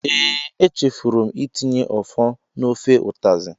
Ee, echefuru m itinye ofor na ofe utazi.